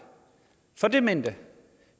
for demente